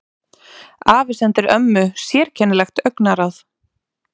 Afi sendir ömmu sérkennilegt augnaráð.